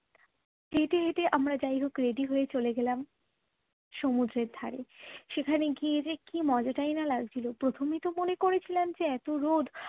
হেঁটে হেঁটে আমরা যাই হোক ready হয়ে চলে গেলাম সমুদ্রের ধারে সেখানে গিয়ে যে কি মজাটাই না লাগছিল প্রথমে তো মনে করেছিলাম যে এত রোদ